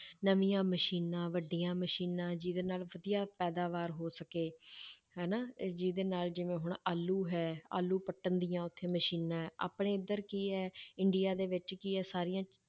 ਨਵੀਂਆਂ ਮਸ਼ੀਨਾਂ ਵੱਡੀਆਂ ਮਸ਼ੀਨਾਂ ਜਿਹਦੇ ਨਾਲ ਵਧੀਆ ਪੈਦਾਵਾਰ ਹੋ ਸਕੇ ਹਨਾ ਅਹ ਜਿਹਦੇ ਨਾਲ ਜਿਵੇਂ ਹੁਣ ਆਲੂ ਹੈ ਆਲੂ ਪੱਟਣ ਦੀਆਂ ਉੱਥੇ ਮਸ਼ੀਨਾਂ ਹੈ ਆਪਣੇ ਇੱਧਰ ਕੀ ਹੈ ਇੰਡੀਆ ਦੇ ਵਿੱਚ ਕੀ ਹੈ ਸਾਰੀਆਂ